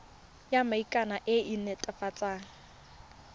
ya maikano e e netefatsang